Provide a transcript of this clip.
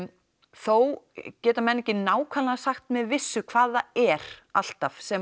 þó geta menn ekki nákvæmlega sagt með vissu hvað það er alltaf sem